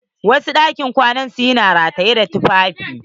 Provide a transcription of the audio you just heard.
Wasu ɗakin kwana su na da ɗakin rataye tufafi